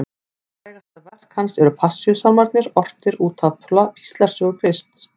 Frægasta verk hans eru Passíusálmarnir, ortir út af píslarsögu Krists.